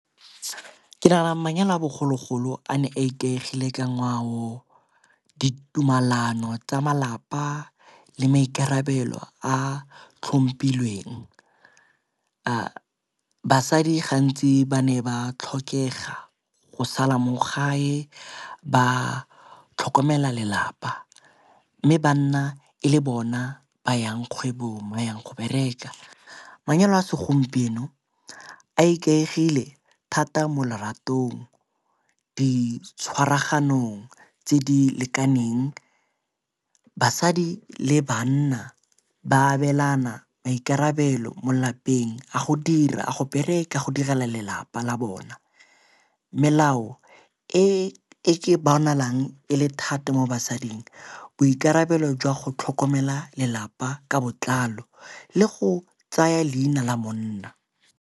Ke nagana gore manyalo a bogologolo a ne ikaegile ka ngwao, ditumalano tsa malapa le maikarabelo a tlhompilweng. A basadi gantsi ba ne ba tlhokega go sala mo gae ba tlhokomela lelapa, mme banna e le bona ba yang kgwebong ba yang go bereka. Manyalo a segompieno a ikaegile thata mo leratong di tshwaraganong tse di lekaneng. Basadi le bana ba abelana maikarabelo mo lapeng a go dira, a go bereka, a go direla lelapa la bona. Melao e ke bonalang e le thata mo basadi boikarabelo jwa go tlhokomela lelapa ka botlalo le go tsaya leina la monna.